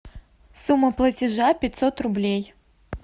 сумма платежа пятьсот рублей